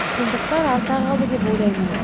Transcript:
қиындықтар артта қалды деп ойлаймын